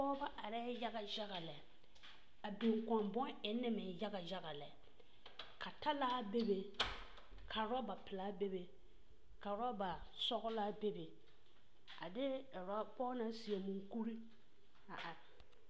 Pɔgeba arɛɛ yaga yaga lɛ, a biŋ kõɔ bone ennee meŋ yagayag lɛ. ka talaa bebe, ka orɔba pelaa bebe ka orɔba sɔgelaa bebe ade orɔ…..pɔge naŋ seɛ mukuri a are.